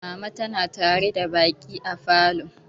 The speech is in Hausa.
Mama tana tare da baƙi a falo.